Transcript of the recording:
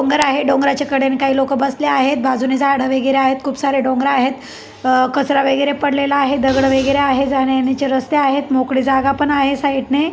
डोंगर आहे डोंगराच्या कडेने काही लोक बसले आहेत बाजूने झाड वगैरे आहे खुप सारे डोंगर आहे कचरा वगैरे पडलेला आहे दगड वगैरे आहे जाण्या येण्याचे रस्ते आहेत मोकळी जागा पण आहे साईड ने.